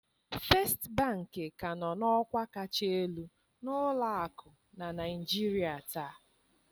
First bank ka nọ n'ọkwa kacha elu n'ụlọakụ na Naịjirịa taa